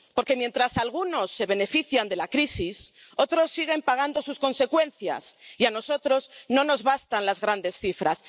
Porque mientras algunos se benefician de la crisis, otros siguen pagando sus consecuencias, y a nosotros no nos bastan las grandes cifras.